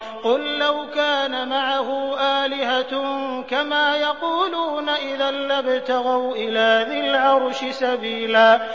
قُل لَّوْ كَانَ مَعَهُ آلِهَةٌ كَمَا يَقُولُونَ إِذًا لَّابْتَغَوْا إِلَىٰ ذِي الْعَرْشِ سَبِيلًا